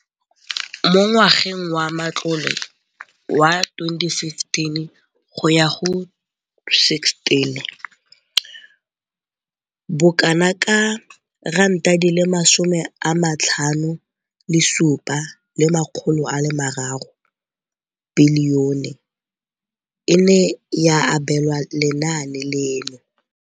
Mo ngwageng wa matlole wa 2015,16, bokanaka R5 703 bilione e ne ya abelwa lenaane leno.